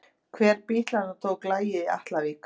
Hver bítlanna tók lagið í Atlavík?